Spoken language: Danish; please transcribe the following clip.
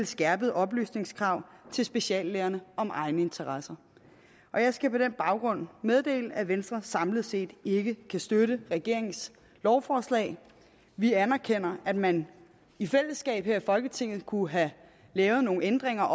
skærpede oplysningskrav til speciallægerne om egne interesser jeg skal på den baggrund meddele at venstre samlet set ikke kan støtte regeringens lovforslag vi anerkender at man i fællesskab her i folketinget kunne have lavet nogle ændringer